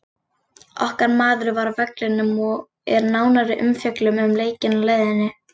Okkar maður var á vellinum og er nánari umfjöllun um leikinn á leiðinni.